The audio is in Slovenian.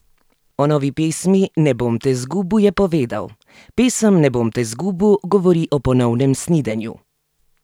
O novi pesmi Ne bom te zgubu je povedal: ''Pesem 'Ne bom te zgubu' govori o ponovnem snidenju.